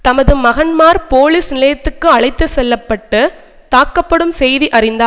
தமது மகன்மார் போலிஸ் நிலையத்துக்கு அழைத்து செல்ல பட்டு தாக்கப்படும் செய்தி அறிந்த